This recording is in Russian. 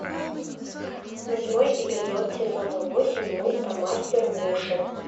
восьмой эпизод сезона восемь мульта мастер муши